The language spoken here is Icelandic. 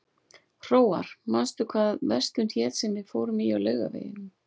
Hróar, manstu hvað verslunin hét sem við fórum í á laugardaginn?